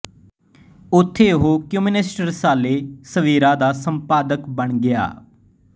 ਉੱਥੇ ਉਹ ਕਮਿਊਨਿਸਟ ਰਸਾਲੇ ਸਵੇਰਾ ਦਾ ਸੰਪਾਦਕ ਬਣ ਗਿਆ